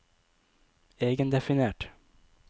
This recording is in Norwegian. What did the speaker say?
egendefinert